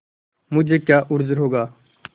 मुझे क्या उज्र होगा